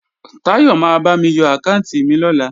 Táyọ̀ ma bámi yọ àkáànti mi lọ́la